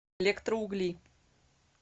электроугли